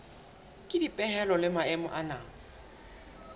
ke dipehelo le maemo ana